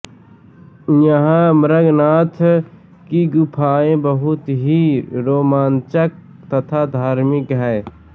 यहाँ मृगन्नाथ की गुफाएँ बहुत ही रोमान्चक तथा धार्मिक है